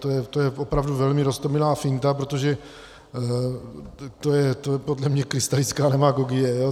To je opravdu velmi roztomilá finta, protože to je podle mě krystalická demagogie.